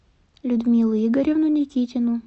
людмилу игоревну никитину